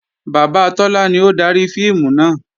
Bàbá Tọ́lá ni ó dari fíìmù náà